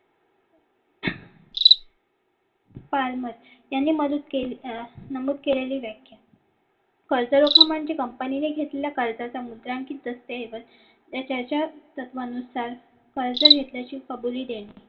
यांनी मदत केली नमूद केलेली व्याख्या कर्जरोखा म्हणजे company ने घेतलेला कर्जाचा मुद्रांकित असते त्याच्या तत्त्वानुसार कर्ज घेतल्याची कबुली देणे